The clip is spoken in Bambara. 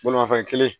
Bolimafɛn kelen